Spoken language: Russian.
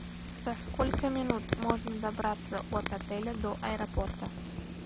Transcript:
за сколько минут можно добраться от отеля до аэропорта